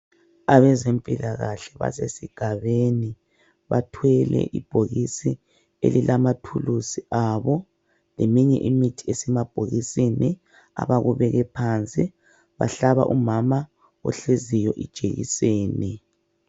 Abezempilakahle basesigabeni bathwele ibhokisi elilamathuluzi abo . Leminye imithi esemabhokisini abakubeke phansi. Bahlaba umama ohleziyo ijekiseni.